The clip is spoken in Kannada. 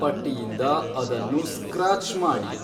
ಪಟ್ಟಿಯಿಂದ ಅದನ್ನು ಸ್ಕ್ರಾಚ್ ಮಾಡಿ